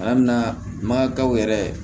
An bɛ na makaw yɛrɛ